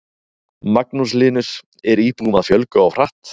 Magnús Hlynur: Er íbúum að fjölga of hratt?